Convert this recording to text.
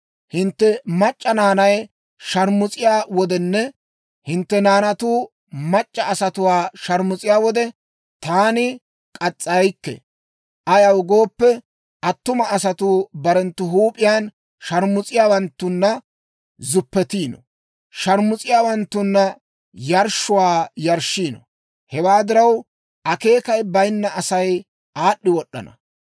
Hintte mac'c'a naanay sharmus'iyaa wodenne hintte naanatu mac'c'a asatuu sharmus'iyaa wode, taani k'as's'aykke; ayaw gooppe, attuma asatuu barenttu huup'iyaan sharmus'iyaawanttunna zuppetiino; sharmus'iyaawanttunna yarshshuwaa yarshshiino. Hewaa diraw, akeekay bayinna Asay aad'd'i wod'd'ana.